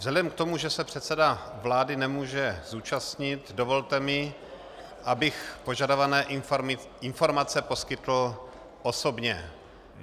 Vzhledem k tomu, že se předseda vlády nemůže zúčastnit, dovolte mi, abych požadované informace poskytl osobně.